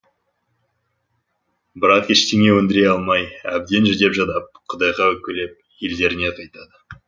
бірақ ештеңе өндіре алмай әбден жүдеп жадап құдайға өкпелеп елдеріне қайтады